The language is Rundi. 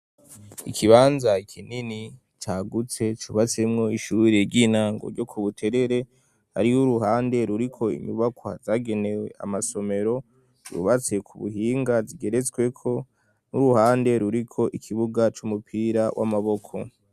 Ikibanza kinini cagutse cubatsemwo ishure ry'intango ryo ku Buterere hariho uruhande ruriko inyubakwa zagenewe amasomero yubatse ku buhinga zigeretsweko n'uruhande ruriko ikibuga c'umupira w'amaboko.